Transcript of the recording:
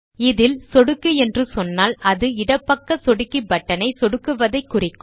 இதில் சொடுக்கு என்று சொன்னால் அது இடப்பக்க சொடுக்கி பட்டன் ஐ சொடுக்கி விடுவதைக் குறிக்கும்